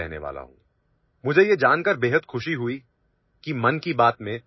I am very happy to know that fitness is being discussed in 'Mann Ki Baat'